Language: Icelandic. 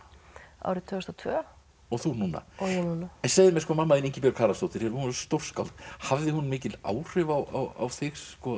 árið tvö þúsund og tvö og þú núna og ég núna en segðu mér mamma þín Ingibjörg Haraldsdóttir hún var stórskáld hafði hún mikil áhrif á þig